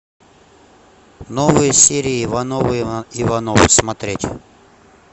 новые серии ивановы ивановы смотреть